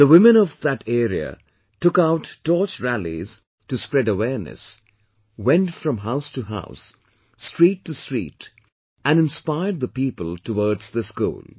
The women of that area took out torch rallies to spread awareness, went from house to house, street to street and inspired the people towards this goal